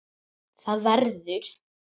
ÞAÐ VERÐUR